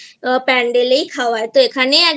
Pandal এই খাওয়ায় তো